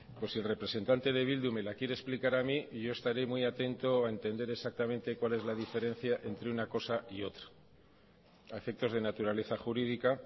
pues si el representante de bildu me la quiere explicar a mi yo estaré muy atento a entender exactamente cuál es la diferencia entre una cosa y otra a efectos de naturaleza jurídica